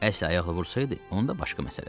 Əsl ayaqla vursaydı, onda başqa məsələ.